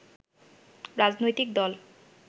রাজনৈতিক দল